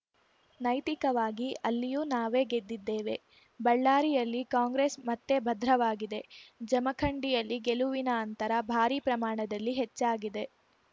ನೈತಿಕವಾಗಿ ಅಲ್ಲಿಯೂ ನಾವೇ ಗೆದ್ದಿದ್ದೇವೆ ಬಳ್ಳಾರಿಯಲ್ಲಿ ಕಾಂಗ್ರೆಸ್‌ ಮತ್ತೆ ಭದ್ರವಾಗಿದೆ ಜಮಖಂಡಿಯಲ್ಲಿ ಗೆಲುವಿನ ಅಂತರ ಭಾರಿ ಪ್ರಮಾಣದಲ್ಲಿ ಹೆಚ್ಚಾಗಿದೆ